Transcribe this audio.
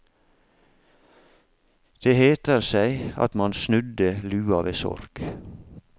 Det heter seg at man snudde lua ved sorg.